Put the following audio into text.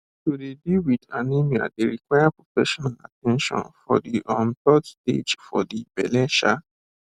to dey deal wit anemia dey require professional at ten tion for de um third stage for de belle um